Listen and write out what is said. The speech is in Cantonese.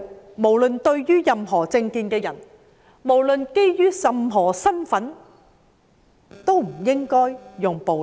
我們認為對於持任何政見、身份的人，都不應該使用暴力。